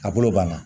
A bolo banna